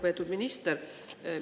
Lugupeetud minister!